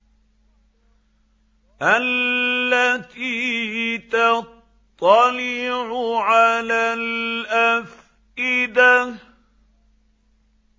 الَّتِي تَطَّلِعُ عَلَى الْأَفْئِدَةِ